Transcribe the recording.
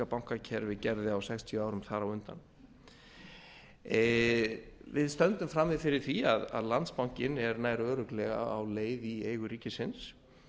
bankakerfi gerði á sextíu árum þar á undan við stöndum frammi fyrir því að landsbankinn er nær örugglega á leið í eigu ríkisins